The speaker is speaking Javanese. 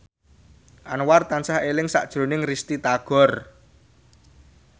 Anwar tansah eling sakjroning Risty Tagor